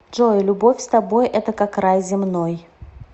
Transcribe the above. джой любовь с тобой это как рай земной